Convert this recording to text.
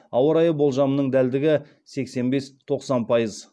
ауа райы болжамының дәлдігі сексен бес тоқсан пайыз